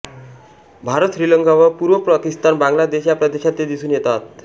भारत श्रीलंका व पूर्व पाकिस्तान बांगला देश या प्रदेशात ते दिसून येतात